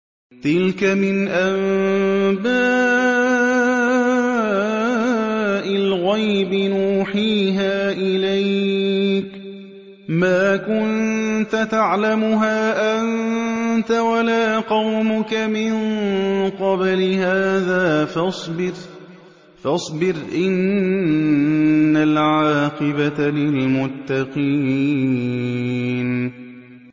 تِلْكَ مِنْ أَنبَاءِ الْغَيْبِ نُوحِيهَا إِلَيْكَ ۖ مَا كُنتَ تَعْلَمُهَا أَنتَ وَلَا قَوْمُكَ مِن قَبْلِ هَٰذَا ۖ فَاصْبِرْ ۖ إِنَّ الْعَاقِبَةَ لِلْمُتَّقِينَ